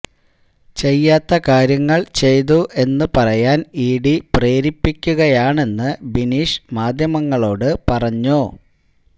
ചെയ്യാത്ത കാര്യങ്ങള് ചെയ്തു എന്ന് പറയാന് ഇഡി പ്രേരിപ്പിക്കുകയാണെന്ന് ബിനീഷ് മാധ്യമങ്ങളോട് പറഞ്ഞു